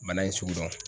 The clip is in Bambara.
Bana in sugu dɔn